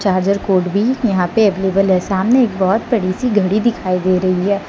Charger cord भी यहां पे अवेलेबल है सामने एक बहौत बड़ी सी घड़ी दिखाई दे रही है।